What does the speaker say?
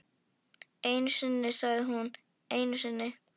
Einu sinni sagði hún, einu sinni.